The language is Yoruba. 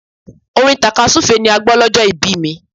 Orin tàkasúfèé ni a gbọ́ lọ́jọ́ ìbí mi.